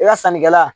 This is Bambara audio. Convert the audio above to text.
I ka sannikɛla